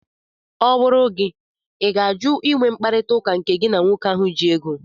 Ọ wụrụ gị, ị ga-ajụ ị nwe mkparịtaụka nke gị na nwoke ahụ ji ego?